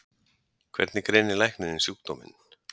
Hvernig greinir læknirinn sjúkdóminn?